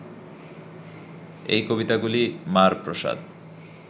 এই কবিতাগুলি মার প্রসাদ